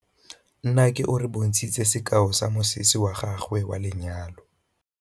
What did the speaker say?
Nnake o re bontshitse sekaô sa mosese wa gagwe wa lenyalo.